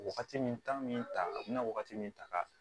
Wagati min taa min ta a bɛna wagati min ta ka